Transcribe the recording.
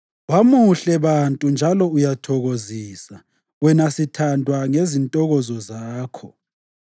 Wamuhle bantu njalo uyathokozisa, wena sithandwa, ngezintokozo zakho!